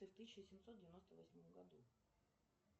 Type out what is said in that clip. в тысяча семьсот девяносто восьмом году